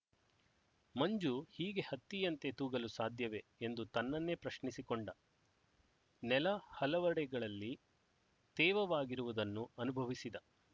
ಮಂಜು ಹೀಗೆ ಹತ್ತಿಯಂತೆ ತೂಗಲು ಸಾಧ್ಯವೇ ಎಂದು ತನ್ನನ್ನೇ ಪ್ರಶ್ನಿಸಿಕೊಂಡ ನೆಲ ಹಲವೆಡೆಗಳಲ್ಲಿ ತೇವವಾಗಿರುವುದನ್ನು ಅನುಭವಿಸಿದ